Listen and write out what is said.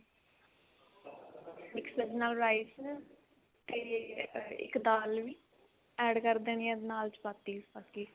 mix veg ਨਾਲ rice ਤੇ ਅਮ ਇੱਕ ਦਾਲ ਵੀ add ਕਰ ਦੇਣੀ ਹੈ ਨਾਲ chapattis ਬਾਕੀ